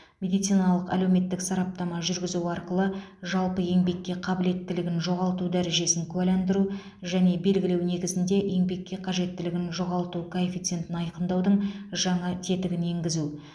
медициналық әлеуметтік сараптама жүргізу арқылы жалпы еңбекке қабілеттілігін жоғалту дәрежесін куәландыру және белгілеу негізінде еңбекке қабілеттілігін жоғалту коэффициентін айқындаудың жаңа тетігін енгізу